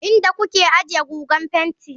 Inda kuke ajiye guga fenti.